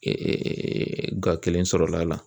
ga sɔrɔla a la